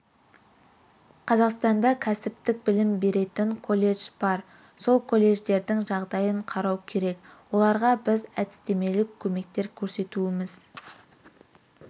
қазақстанда кәсіптік білім беретін колледж бар сол колледждердің жағдайын қарау керек оларға біз әдістемелік көмектер көрсетуіміз